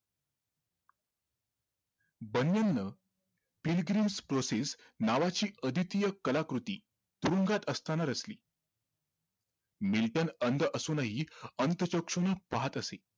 pilgrim process नावाची अदितीय कलाकृती तुरुंगात असताना रचली मिल्टन अंध असूनही अंतःचक्षूने पाहत असे